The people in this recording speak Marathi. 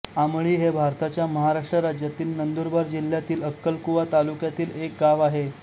आमळी हे भारताच्या महाराष्ट्र राज्यातील नंदुरबार जिल्ह्यातील अक्कलकुवा तालुक्यातील एक गाव आहे